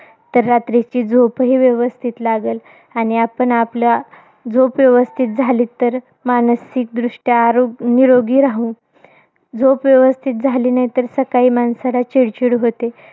तर रात्रीची झोपही व्यवस्थित लागल. आणि आपण आपला, झोप व्यवस्थित झाली तर, मानसिकदृष्ट्या आरो निरोगी राहू. झोप व्यवस्थित झाली नाही तर सकाळी माणसाला चिडचिड होते.